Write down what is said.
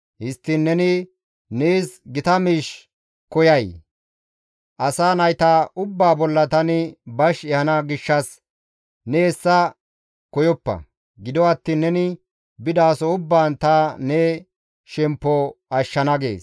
Histtiin neni nees gita miish koyay? Asa nayta ubbaa bolla tani bash ehana gishshas ne hessa koyoppa; gido attiin neni bidaso ubbaan ta ne shemppo ashshana» gees.